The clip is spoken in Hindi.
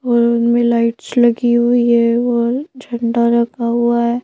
और में लाइट्स लगी हुई है और झंडा लगा हुआ है।